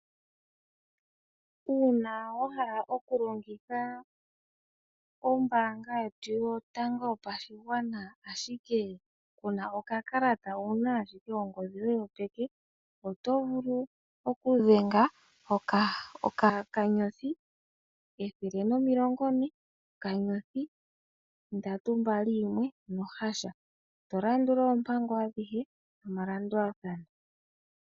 Uuna wa hala okulongitha ombaanga yetu yotango yopashigwana ashike kuna okakalata owuna ashike ongodhi yoye yopeke oto vulu okudhenga okanyothi ethele nomilongo ne okanyothi ndatu mbali yimwe nokampani eto landula oompango adhihe nomalandulathano.